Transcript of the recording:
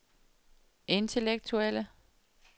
intellektuelle